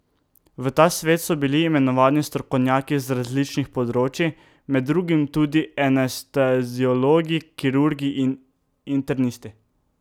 V ta svet so bili imenovani strokovnjaki z različnih področij, med drugim tudi anesteziologi, kirurgi in internisti.